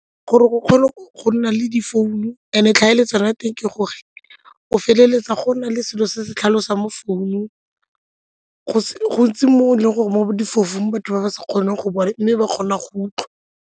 Gore o kgone go nna le difounu and-e tlhaeletsano ya teng ke gore o feleletsa go na le selo se se tlhalosang mo founung gontsi mo e leng gore mo batho ba ba sa kgoneng go bona mme ba kgona go utlwa.